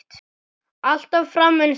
Alltaf fram eins og þú.